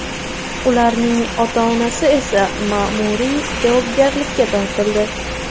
Ularning ota-onasi esa ma’muriy javobgarlikka tortildi.